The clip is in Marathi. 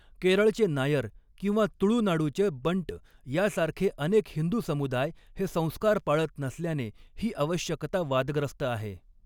केरळचे नायर किंवा तुळुनाडूचे बंट यासारखे अनेक हिंदू समुदाय हे संस्कार पाळत नसल्याने ही आवश्यकता वादग्रस्त आहे.